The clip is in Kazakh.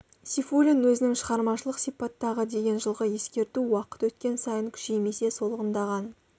сейфуллин өзінің шығармашылық сипаттағы деген жылғы ескерту уақыт өткен сайын күшеймесе солғындаған